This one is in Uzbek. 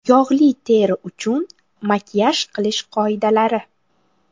Yog‘li teri uchun makiyaj qilish qoidalari.